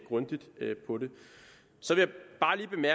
så det